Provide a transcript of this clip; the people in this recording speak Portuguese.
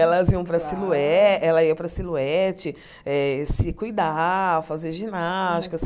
Elas iam para a Silhoue ela ia para a Silhouette eh se cuidar, fazer ginástica.